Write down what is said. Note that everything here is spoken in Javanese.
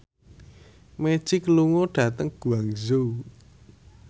Magic lunga dhateng Guangzhou